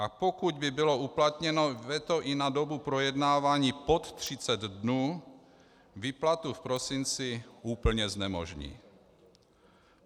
A pokud by bylo uplatněno veto i na dobu projednávání pod 30 dnů, výplatu v prosinci úplně znemožní.